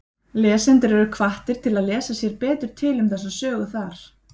Lesendur eru hvattir til að lesa sér betur til um þessa sögu þar.